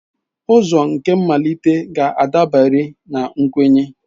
Ụzọ nke mmalite ga-adabere na nkwenye.